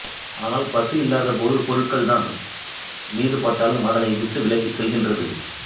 ஆனால்பசி இல்லாத போது பொருட்கள் தன் மீது பட்டாலும் அதனை விட்டு விலகிச் செல்கின்றது